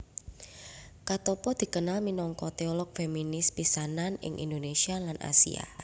Katoppo dikenal minangka teolog feminis pisanan ing Indonesia lan Asia